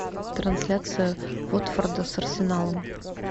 трансляция уотфорда с арсеналом